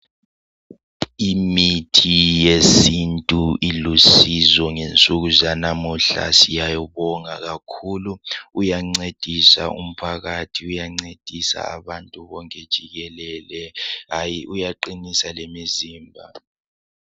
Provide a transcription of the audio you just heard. Imithi yesintu ilusizo ngensuku zanamuhla. Siyawubonga kakhulu! Uyancedisa umphakathi. Uyancedisa abantu bonke jikele. Hayi, uyaqinisa lemizimba.